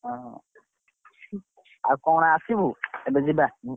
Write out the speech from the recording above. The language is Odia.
ହଁ ଆଉ କଣ ଆସିବୁ ଏବେ ଯିବା।